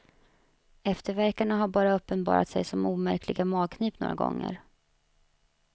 Eftervärkarna har bara uppenbarat sig som omärkliga magknip några gånger.